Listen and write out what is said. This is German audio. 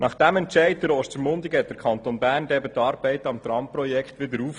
Nach diesem Entscheid der Gemeinde Ostermundigen nahm der Kanton die Arbeiten am Tramprojekt wieder auf.